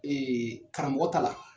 karamɔgɔ ta la